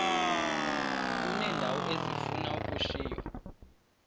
uneendawo ezifuna ukushiywa